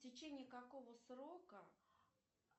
в течении какого срока